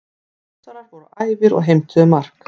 Þórsarar voru æfir og heimtuðu mark.